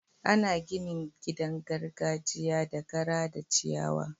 Ana ginin gidan gargajiya da kara da ciyawa.